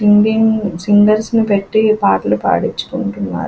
Indian singers నీ పెట్టి పాటలు పడిచుకుంటున్నారు.